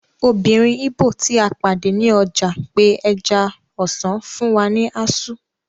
Obìnrin ìgbò tí a pàdé ní ọjà pe ẹja-ọsàn fún wa ní azu